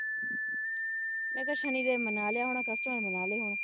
ਮੈਂ ਕਿਹਾ ਸੁਣੀ ਦੇਵ ਮਨਾ ਲਿਆ ਹੋਣਾ customer ਮਨਾ ਲਹੇ ਹੋਣੇ